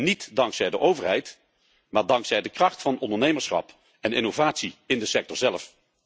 Niet dankzij de overheid, maar dankzij de kracht van ondernemerschap en innovatie in de sector zelf.